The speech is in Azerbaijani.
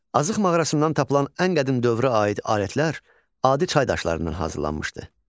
Azıq mağarasından tapılan ən qədim dövrə aid alətlər adi çay daşlarından hazırlanmışdı.